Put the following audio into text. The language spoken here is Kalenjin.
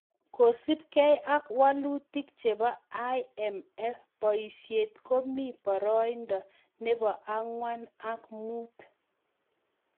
Kosup gei ak walutik chepoo IMF poisiet komii poroindoo neboo angwan ak muut